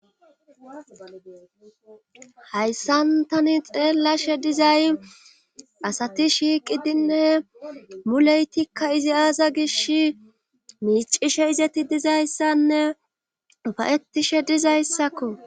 Hayssan tani xeellashe dizay asati shiiqidinne muleytika ezi aaza gishin miiccishe izati dizyssanne ufayettishe dizayssako.